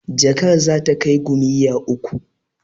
Jakar za ta kai gomiyya uku.